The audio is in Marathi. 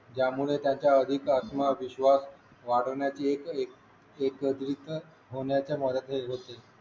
ज्यामुळे त्यांचा अधिक आत्मविश्वास वाढवण्याची एक एक होते